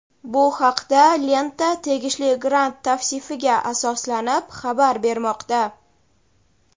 Bu haqda "Lenta" tegishli grant tavsifiga asoslanib xabar bermoqda.